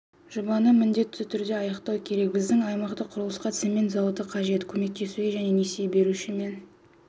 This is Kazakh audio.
жобаны міндетті түрде аяқтау керек біздің аймақтағы құрылысқа цемент зауыты қажет көмектесуге және несие беруші мен